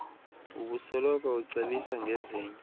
ubosoloko ucebisa ngezinye